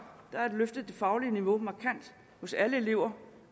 har man løftet det faglige niveau markant hos alle elever